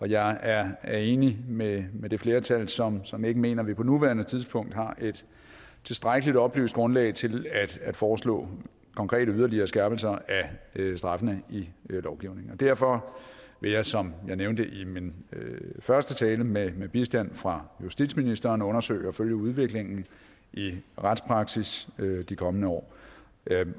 jeg er er enig med med det flertal som som ikke mener at vi på nuværende tidspunkt har et tilstrækkelig oplyst grundlag til at foreslå konkrete yderligere skærpelser af straffene i lovgivningen derfor vil jeg som jeg nævnte i min første tale med med bistand fra justitsministeren undersøge og følge udviklingen i retspraksis de kommende år